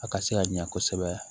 A ka se ka ɲɛ kosɛbɛ